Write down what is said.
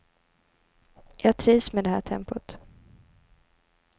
Jag trivs med det här tempot.